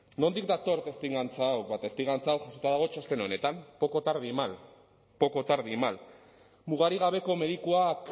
nondik dator testigantza hau ba testigantza hau jasota dago txosten honetan poco tarde y mal mugarik gabeko medikuak